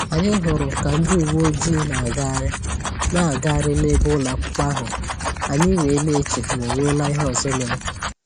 Anyị hụrụ ka ndị uwe ojii na-agagharị na-agagharị n'ebe ụlọakwụkwọ ahụ, anyị wee na-eche ma onwela ihe ọzọ mere